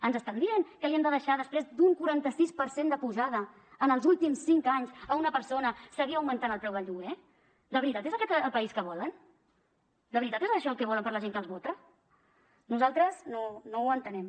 ens estan dient que hem de deixar després d’un quaranta sis per cent d’apujada en els últims cinc anys a una persona seguir augmentant el preu del lloguer de veritat és aquest el país que volen de veritat és això el que volen per a la gent que els vota nosaltres no ho entenem